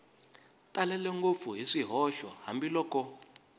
talele ngopfu hi swihoxo hambiloko